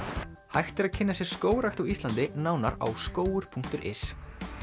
hægt er að kynna sér skógrækt á Íslandi nánar á punktur is